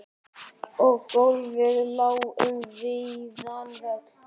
Og gólfið lá um víðan völl.